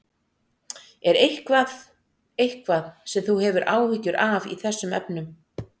Er eitthvað, eitthvað sem þú hefur áhyggjur af í þessum efnum?